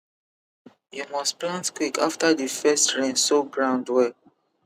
you must plant quick after the first rain soak ground well